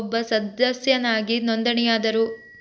ಒಬ್ಬ ಸದಸ್ಯನಾಗಿ ನೋಂದಣಿಯಾದರು